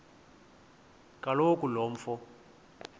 kaloku lo mfo